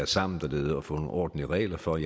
sammen dernede og få nogle ordentlige regler for